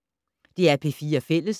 DR P4 Fælles